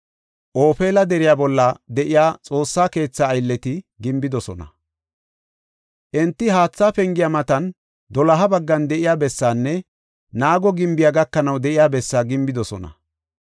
Ofeela deriya bolla de7iya Xoossa keethaa aylleti gimbidosona. Enti Haatha Pengiya matan doloha baggan de7iya bessaanne naago gimbiya gakanaw de7iya bessaa gimbidosona.